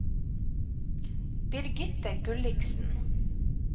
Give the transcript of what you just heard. Birgitte Gulliksen